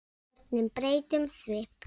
Börnin breyta um svip.